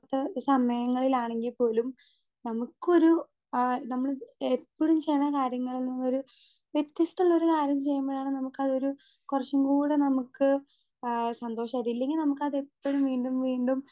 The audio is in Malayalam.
സ്പീക്കർ 2 സമയങ്ങളിലാണെങ്കിൽ പോലും നമുക്കൊരു ആ നമ്മൾ എപ്പഴും ചെയ്യ്ണ കാര്യങ്ങളിൽ നിന്നൊരു വ്യത്യസ്തള്ളൊരു കാര്യം ചെയ്യുമ്പോഴാണ് നമുക്കതൊരു കൊറച്ചും കൂടെ നമുക്ക് ആ സന്തോഷാ ഇല്ലെങ്കി നമുക്കതെപ്പഴും വീണ്ടും വീണ്ടും.